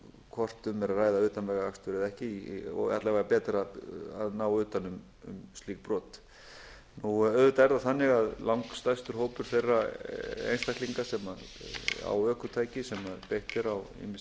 hvort um er að ræða utanvegaakstur eða ekki og alla vega betra að ná utan um slík brot auðvitað er það þannig að langstærstur hópur þeirra einstaklinga sem á ökutæki sem beitt er á